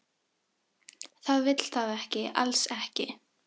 Það vill það ekki, alls ekki.